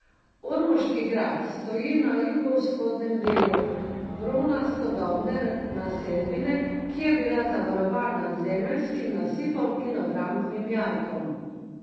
Ormoški grad stoji na jugovzhodnem delu bronastodobne naselbine, ki je bila zavarovana z zemeljskim nasipom in obrambnim jarkom.